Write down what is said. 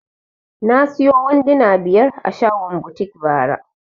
Na siyo wanduna biyar a shagon butik bara